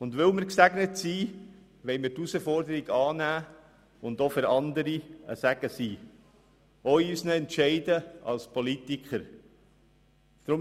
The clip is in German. Und weil wir gesegnet sind, wollen wir die Herausforderung annehmen und auch für andere Segen in unseren Entscheidungen als Politiker sein.